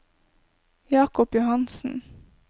Jakob Johansen